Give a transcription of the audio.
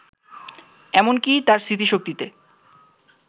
এমন কি তার স্মৃতিশক্তিতে